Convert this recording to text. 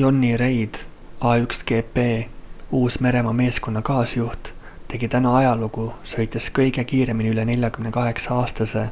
jonny reid a1gp uus-meremaa meeskonna kaasjuht tegi täna ajalugu sõites kõige kiiremini üle 48-aastase